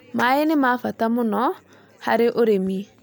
Maĩ nĩ ma bata mũno harĩ ũrĩmi.